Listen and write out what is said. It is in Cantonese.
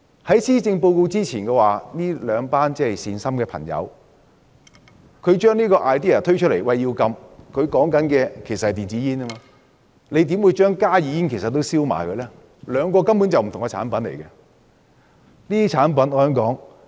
在施政報告發表之前，這兩群善心的朋友提出要禁煙，但他們說的是電子煙，為何現在連加熱煙也混為一談，兩者根本是不同的產品？